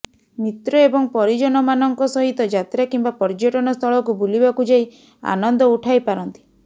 ମିତ୍ର ଏବଂ ପରିଜନମାନଙ୍କ ସହିତ ଯାତ୍ରା କିମ୍ବା ପର୍ଯ୍ୟଟନ ସ୍ଥଳକୁ ବୁଲିବାକୁଯାଇ ଆନନ୍ଦ ଉଠାଇ ପାରନ୍ତି